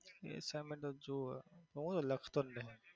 assignment તો જોવે હું લખતો જ નથી.